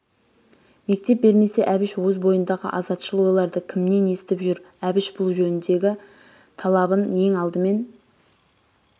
мектеп бермесе әбіш өз бойындағы азатшыл ойларды кімнен естіп жүр әбіш бұл жөніндегі талабын ең алдымен